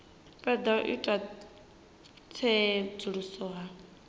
fhedza u ita tsedzuluso hu